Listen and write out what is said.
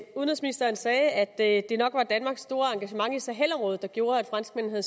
udenrigsministeren sagde at det nok var danmarks store engagement i sahelområdet der gjorde at franskmændene